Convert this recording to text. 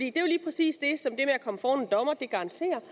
er jo lige præcis det som det at komme foran en dommer kan garantere